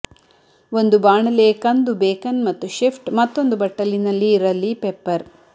ಒಂದು ಬಾಣಲೆ ಕಂದು ಬೇಕನ್ ಮತ್ತು ಶಿಫ್ಟ್ ಮತ್ತೊಂದು ಬಟ್ಟಲಿನಲ್ಲಿ ರಲ್ಲಿ ಪೆಪ್ಪರ್